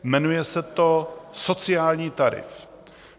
Jmenuje se to sociální tarif.